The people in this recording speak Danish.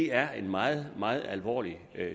er en meget meget alvorlig